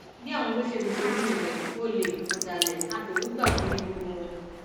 bí àwọn olóṣèlú ṣe rí nìyẹn olè ọdàlẹ afẹrúgbàkun ni gbogbo wọn